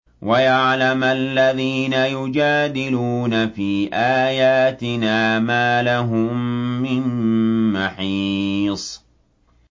وَيَعْلَمَ الَّذِينَ يُجَادِلُونَ فِي آيَاتِنَا مَا لَهُم مِّن مَّحِيصٍ